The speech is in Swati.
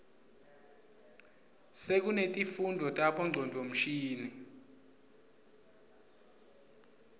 sekunetifundvo tabo ngcondvomshini